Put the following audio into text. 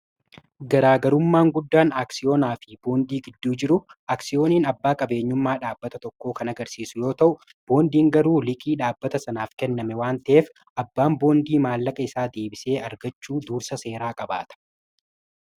garaagarummaan guddaan aaksiyoonaa fi boondii gidduu jiru aaksiyooniin abbaa qabeenyummaa dhaabbata tokkoo kan agarsiisu yoo ta'u boondiin garuu liqii dhaabbata sanaaf kenname waanteef abbaan boondii maallaqa isaa deebisee argachuu duursa seeraa qabaata